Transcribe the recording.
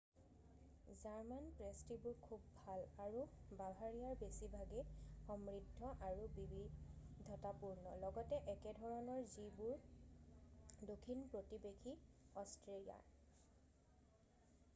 German পেষ্ট্ৰিবোৰ খুব ভাল আৰু বাভাৰিয়াৰ বেছিভাগে সমৃদ্ধ আৰু বিবিধতাপূৰ্ণ ,লগতে একেধৰণৰ যিবোৰ দক্ষিণ প্ৰতিবেশী অষ্ট্ৰিয়াৰ।